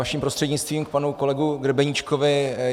Vaším prostřednictvím k panu kolegovi Grebeníčkovi.